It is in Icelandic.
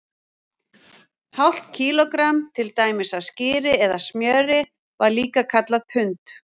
Hálft kílógramm, til dæmis af skyri eða smjöri, var líka kallað pund.